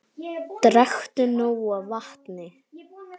Drekktu nóg af vatni.